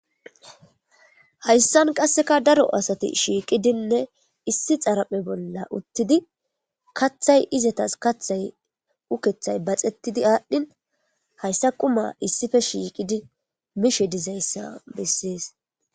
hayssan qasseka daro asati shiiqidinne issi xaraphe bolla uttidi kathay izatas kathay ukethay baxettidi aadhdhin hayssa quma issife shiiqidi mishe dizayssa bessees